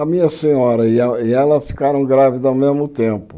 A minha senhora e ela e ela ficaram grávidas ao mesmo tempo.